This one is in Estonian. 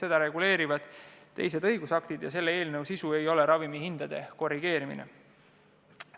Neid reguleerivad teised õigusaktid, selle eelnõu sisu ei ole ravimihindu korrigeerida.